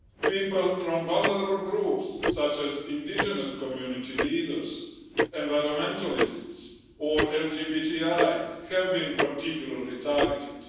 People from vulnerable groups, such as indigenous community leaders, environmentalists or LGBTIs, have been particularly targeted.